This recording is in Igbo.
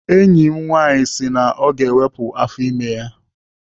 Enyi m nwaanyị si na ọ ga-ewepụ afọ ime ya.